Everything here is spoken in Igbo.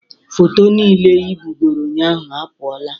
Foto niile ị bugoro ụnyaahụ apụọla